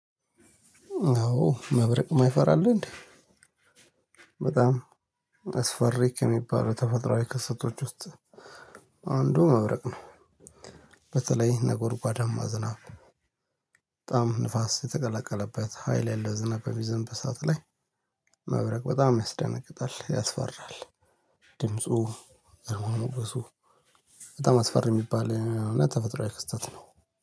አዎ መብረቅ የማይፈራ አለ እንዴ በጣም አስፈሪ ከሚባለው ተፈጥሮአዊ ክስቶች ውስጥ አንዱ መብረቅ ነው። በተለይ ነጎርጓዳ ማዝናብ ዝናብ በጣም ንፋስ የተቀለቀለበት ሀይል ያለው ዝናብ በሚዘን በሰአት ላይ መብረቅ በጣም ያስደነግጣል ያስፈራል። ድምፁ ግርማሞገሱ በጣም አስፈሪ የሚባል እና ተፈጥሮአዊ ክስተት ነው።